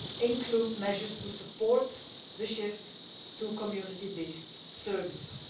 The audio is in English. include measures to support the shift to community based services.